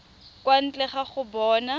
kwa ntle ga go bona